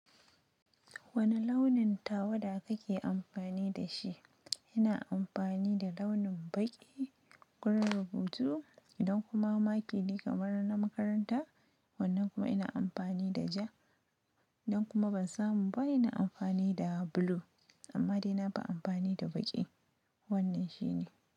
Wane launin tawada kake amfani da shi? Ina amfani da launin baƙi, launin hoto idan kuma maki ne kamar na makaranta. Wannan kuma ina amfani da ja. Idan kuma ban samu ba ina amfani da blue. Amma dai nafi amfani da baƙi. Wannan shine.